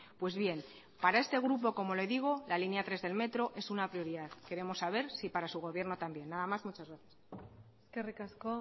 pues bien para este grupo como le digo la línea tres del metro es una prioridad queremos saber si para su gobierno también nada más muchas gracias eskerrik asko